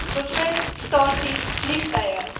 bevind stasies vliegtuie